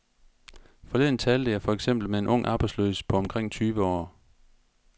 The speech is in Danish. Forleden talte jeg for eksempel med en ung arbejdsløs på omkring tyve år.